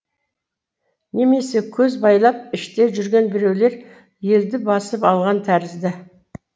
немесе көз байлап іште жүрген біреулер елді басып алған тәрізді